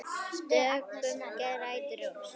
Döggum grætur rós.